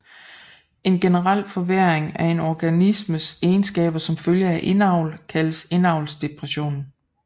En generel forværring af en organismes egenskaber som følge af indavl kaldes indavlsdepression